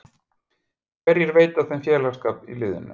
Hverjir veita þeim félagsskap í liðinu?